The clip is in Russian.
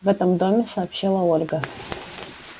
в этом доме сообщила ольга